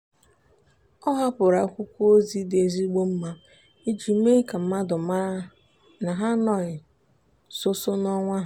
ọ hapụrụ akwụkwọ ozi dị ezigbo mma iji mee ka mmadụ mara na ha anoghị sọọsọ n'onwe ha.